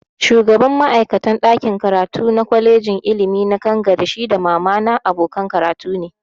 Shugaban ma'aikatan ɗakin karatu na kwalejin ilimi na Kangare shi da mama na abokanan karatu ne